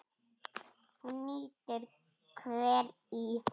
Hún nýtir hveri í